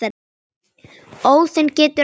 Óðinn getur átt við